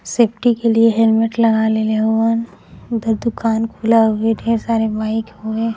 Safety के लिए helmet लगालेवन उधर दुकान खुला है। ढेर सारे बाइक हुए।